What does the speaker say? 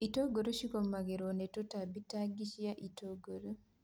itũngũrũ cigomagĩrwo nĩ tũtambi ta ngi cia itũngũrũ.